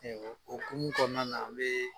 O hokumu kɔnɔna an be